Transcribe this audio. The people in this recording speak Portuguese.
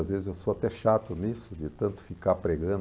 Às vezes eu sou até chato nisso, de tanto ficar pregando.